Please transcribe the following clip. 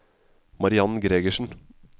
Mariann Gregersen